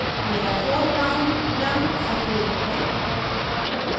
मेरा foreground रंग सफ़ेद है